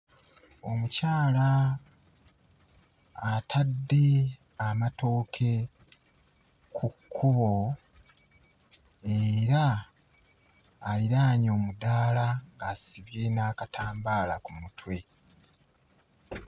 Omukyala atadde amatooke ku kkubo era aliraanye omudaala, asibye n'akatambaala ku mutwe.